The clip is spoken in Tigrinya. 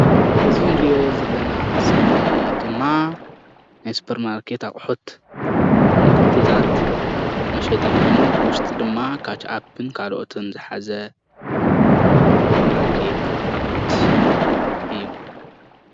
እዙይ እንሪኦ ዘለና ስእሊ ድማ ናይ ስፖርማርኬት ኣቁሑት ምህርትታት መሸጢ ኾይኑ ብውሽጢ ድማ ካችአፕን ካልኦትን ዝሓዘ ሱፐርማርኬት አቁሑት እዩ።